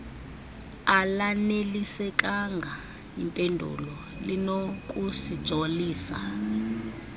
alanelisekanga yimpendulo linokusijolisa